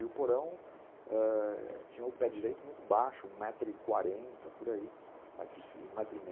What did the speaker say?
E o porão ãh... tinha o pé direito muito baixo, um metro e quarenta, por aí, um metro e meio, né?